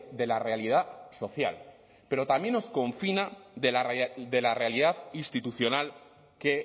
de la realidad social pero también os confina de la realidad institucional que